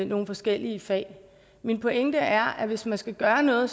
nogle forskellige fag min pointe er at hvis man skal gøre noget